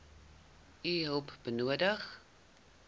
u hulp nodig